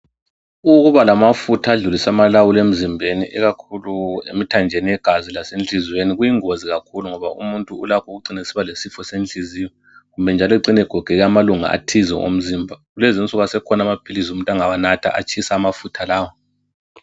Ukubalamafutha adlulise amalawulo emzimbeni ikakhulu emthanjeni yegazi lasenhliziyweni kuyingozi kakhulu ngoba umuntu kulapho ecina esibalesifo senhliziyo kumbe njalo ecine egogeka amalunga athize omzimba kulezinsuku asekhona amaphilisi umuntu ongawanatha atshise amafutha lawa